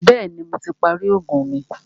Bẹ̀ẹ́ni, Mo ti parí oògùn mi.